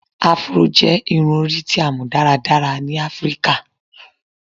Afro jẹ irun-ori ti a mọ daradara ni Afirika